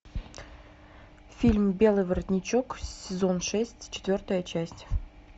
фильм белый воротничок сезон шесть четвертая часть